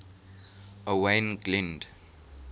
owain glynd